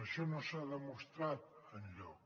això no s’ha demostrat enlloc